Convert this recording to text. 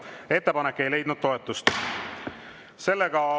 Ettepanek ei leidnud toetust.